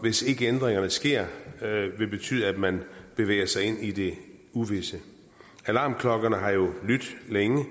hvis ikke ændringerne sker betyde at man bevæger sig ind i det uvisse alarmklokkerne har jo lydt længe